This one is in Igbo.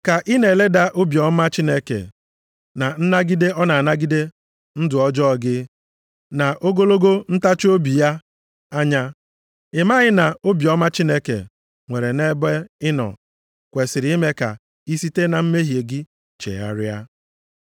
Ka ị na-eleda obiọma Chineke, na nnagide ọ na-anagide ndụ ọjọọ gị, na ogologo ntachiobi ya anya? Ị maghị na obiọma Chineke nwere nʼebe ị nọ kwesiri ime ka i site na mmehie gị chegharịa?